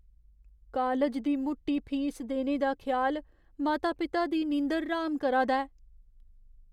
College दी मुट्टी fees देने दा ख्याल माता पिता दी नींदर र्हाम करा दा ऐ।